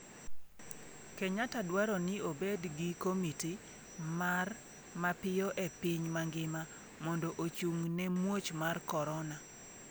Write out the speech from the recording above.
Kenyatta dwaro ni obed gi komiti mar mapiyo e piny mangima mondo ochung'ne muoch mar korona.